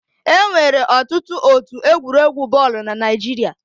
Enwere ọtụtụ otu egwuregwu bọọlụ na Naịjirịa.